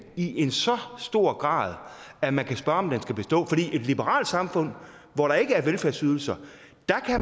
i en så stor grad at man kan spørge om den skal bestå for i et liberalt samfund hvor der ikke er velfærdsydelser